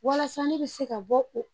Walasa ne bɛ se ka bɔ o